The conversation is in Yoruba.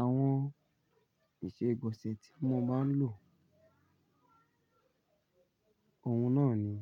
Àwọn ìṣe ìgbọ̀nsẹ̀ tí mo máa ń lò, òun náà ni